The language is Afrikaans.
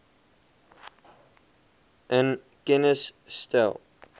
in kennis stel